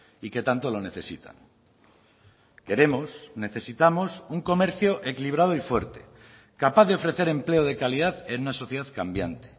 y que tanto lo necesitan queremos necesitamos un comercio equilibrado y fuerte capaz de ofrecer empleo de calidad en una sociedad cambiante